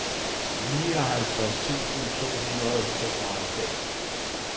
nioghalvtreds tusind to hundrede og tooghalvfems